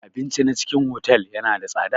Abinci na cikin otal yana da tsada.